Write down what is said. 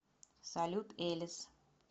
салют элис